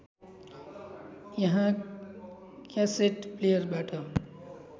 त्यहाँ क्यासेट प्लेयरबाट